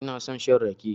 Ina son shan rake.